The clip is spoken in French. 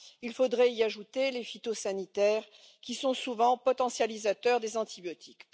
Il faudrait y ajouter les phytosanitaires, qui sont souvent potentialisateurs des antibiotiques.